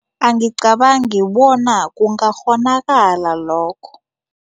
Angicabangi bona kungakghonakala lokho.